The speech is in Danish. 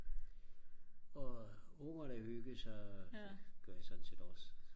og ungerne hyggede sig og det gør jeg sådan set også